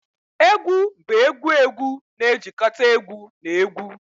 Egwu bụ egwu egwu na-ejikọta egwu na egwu